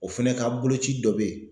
O fɛnɛ ka boloci dɔ be ye